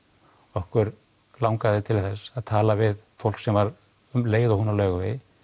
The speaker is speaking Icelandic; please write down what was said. okkur langaði til þess að tala við fólk sem var um leið og hún á Laugavegi